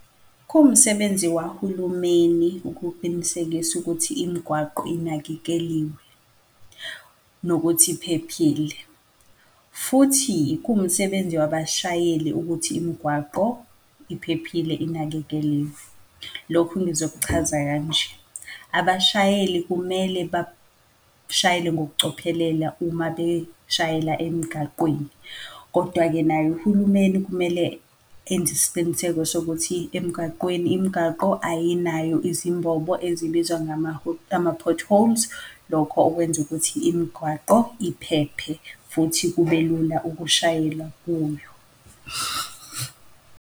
Kuwumsebenzi wahulumeni ukuqinisekisa ukuthi imigwaqo inakekeliwe, nokuthi iphephile. Futhi kuwumsebenzi wabashayeli ukuthi imigwaqo iphephile inakekeliwe. Lokhu ngizokuchaza kanje, abashayeli kumele bashayele ngokucophelela uma beshayela emgaqweni. Kodwa-ke naye uhulumeni kumele enze isiqiniseko sokuthi emgaqweni, imgaqo ayinayo izimbobo ezibizwa ngama ama-potholes, lokho okwenza ukuthi imigwaqo iphephe, futhi kube lula ukushayela kuyo.